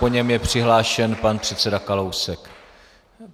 Po něm je přihlášen pan předseda Kalousek.